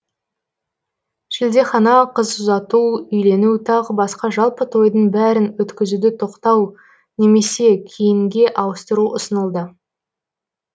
шілдехана қыз ұзату үйлену тағы басқа жалпы тойдың бәрін өткізуді тоқау немесе кейінге ауыстыру ұсынылды